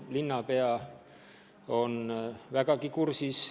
Linnapea on vägagi kursis.